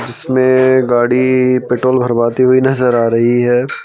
इसमें गाड़ी पेट्रोल भरवाती हुई नज़र आ रही है।